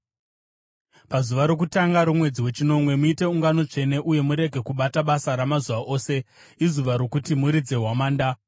“ ‘Pazuva rokutanga romwedzi wechinomwe, muite ungano tsvene uye murege kubata basa ramazuva ose. Izuva rokuti muridze hwamanda.